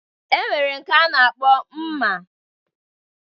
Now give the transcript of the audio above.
E nwere nke a na-akpọ Mma